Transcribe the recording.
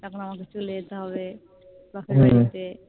তখন আমাকে চলে যেতে হবে বাপের বাড়িতে